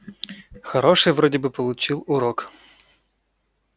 хороший вроде бы получил урок